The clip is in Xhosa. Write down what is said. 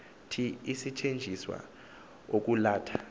thi isetyenziswa ukwalatha